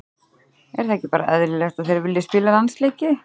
Er það ekki bara eðlilegt að þeir vilji spila landsleiki?